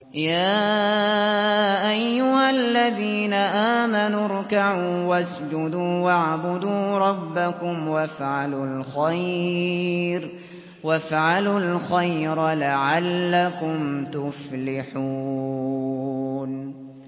يَا أَيُّهَا الَّذِينَ آمَنُوا ارْكَعُوا وَاسْجُدُوا وَاعْبُدُوا رَبَّكُمْ وَافْعَلُوا الْخَيْرَ لَعَلَّكُمْ تُفْلِحُونَ ۩